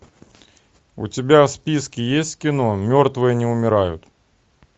у тебя в списке есть кино мертвые не умирают